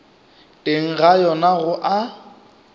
teng ga yona go a